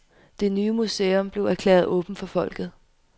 Det nye museum blev erklæret åbent for folket.